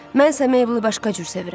Mən isə Meyblı başqa cür sevirəm.